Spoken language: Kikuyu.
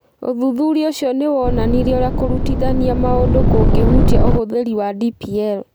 Ũthuthuria ũcio nĩ woonanirie ũrĩa kũrutithania maũndũ kũngĩhutia ũhũthĩri wa DPL.